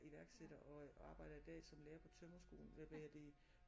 Iværksætter og øh og arbejder dér som lærer på tømrerskolen hvad hedder det